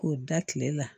K'o da tile la